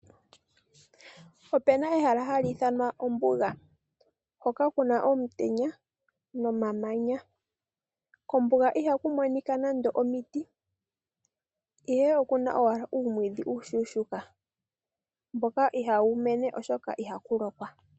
Opuna ehala ha li ithanwa ombuga, hoka kuna omutenya nomamanya. Kombuga ihaku monika nande omiti, ihe oku na owala uumwiidhi uushuushuuka mboka ihaa wu koko oshoka ihaku lokwa.